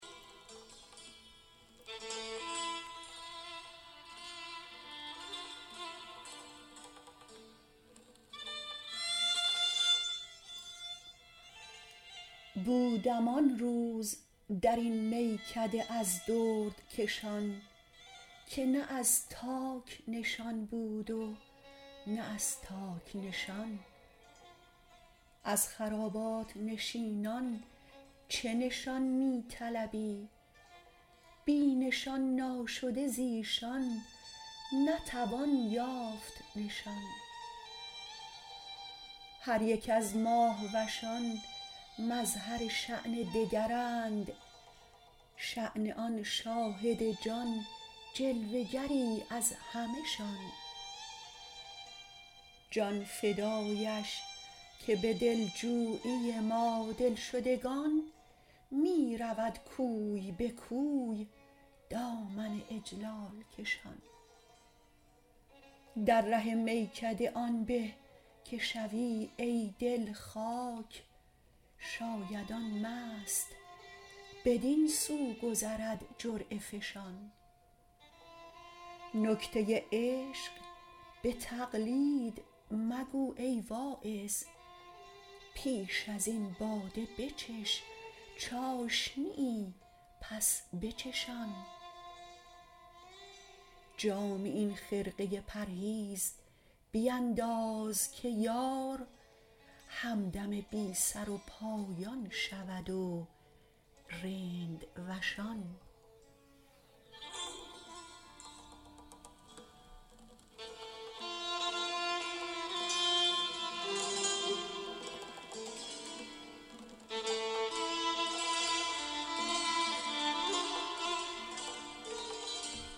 بودم آن روز درین میکده از دردکشان که نه از تاک نشان بود و نه از تاک نشان از خرابات نشینان چه نشان می طلبی بی نشان ناشده زیشان نتوان یافت نشان هر یک از ماهوشان مظهر شأن دگرند شأن آن شاهد جان جلوه گری از همه شان جان فدایش که به دلجویی ما دلشدگان می رود کوی به کوی دامن اجلال کشان در ره میکده آن به که شوی ای دل خاک شاید آن مست بدین سو گذرد جرعه فشان نکته عشق به تقلید مگو ای واعظ پیش ازین باده بچش چاشنیی پس بچشان جامی این خرقه پرهیز بینداز که یار همدم بی سر و پایان شود و رندوشان